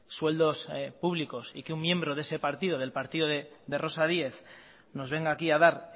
sueldos públicos y que un miembro de ese partido del partido de rosa díez nos venga aquí a dar